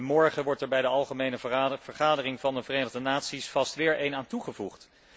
Morgen wordt er bij de algemene vergadering van de Verenigde Naties vast weer een aan toegevoegd.